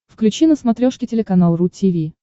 включи на смотрешке телеканал ру ти ви